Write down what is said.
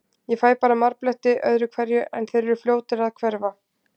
Ég fæ bara marbletti öðru hverju, en þeir eru fljótir að hverfa.